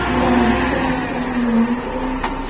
गुलाबी कलर का लाल कलर का--